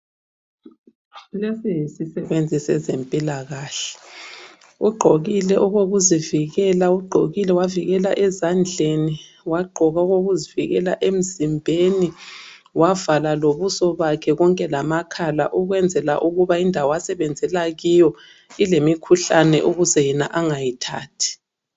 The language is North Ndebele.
Lesi yisisebenzi sezempilakahle ugqokile okokuzivikela, ugqokile wavikela ezandleni ,wagqoka okokuzivikela emzimbeni wavala lobuso bakhe konke lamakhala ukwenzela ukuba indawo asebenzela kiyo ilemikhuhlane ukuze yena angayithathi.